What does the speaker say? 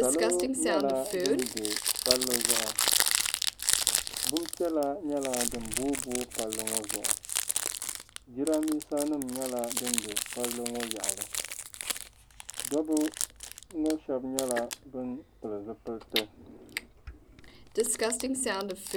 Salo nyɛla ban be palli zuɣu. Bimpiɛla nyɛla din boobooi palli maa zuɣu. Jidambiisanima nyɛla din be palli ŋɔ yaɣili. Dɔbba ŋɔ shɛba nyɛla ban pili zipiliti.